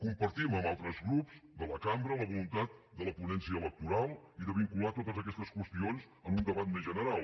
compartim amb altres grups de la cambra la voluntat de la ponència electoral i de vincular totes aquestes qüestions en un debat més general